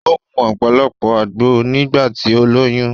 O mu ọ̀pọ̀lọpọ̀ àgbo nígbà tí ó lóyún